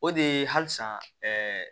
O de ye halisa